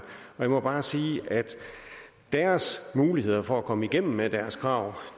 jeg må bare sige at deres muligheder for at komme igennem med deres krav